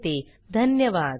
सहभागासाठी धन्यवाद